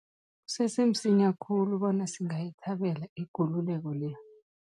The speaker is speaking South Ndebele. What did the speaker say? Kusese msinya khulu bona singayithabela ikululeko le.